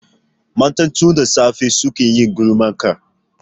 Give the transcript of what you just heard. Matan tun da safe suke yin gulmarka